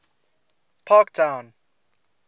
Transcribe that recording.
parktown